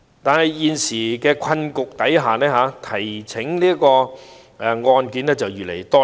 但在現時的困局下，提呈案件越來越多。